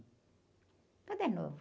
Tudo é novo.